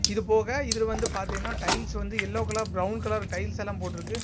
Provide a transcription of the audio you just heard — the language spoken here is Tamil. இது போக இதில் வந்து பாத்தீங்ன டைல்ஸ் வந்து yellow colour brown colour tiles எல்லாம் போட்ருக்கு.